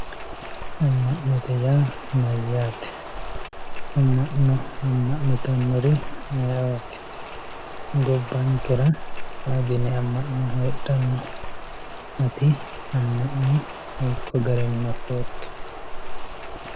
amma'note yaa mayyate? amma'no amma'nitannori ayeeooti? gobbankera meu dani amma'no heedhanno ? ati amma'no hiikko garinni afootto?